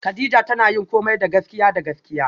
Kadija tana yin komai da gaskiya da gaskiya